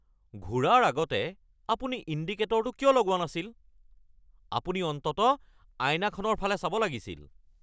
ঘূৰাৰ আগতে আপুনি ইণ্ডিকেটৰটো কিয় লগোৱা নাছিল? আপুনি অন্ততঃ আইনাখনৰ ফালে চাব লাগিছিল।